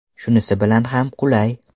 Shunisi bilan ham qulay”.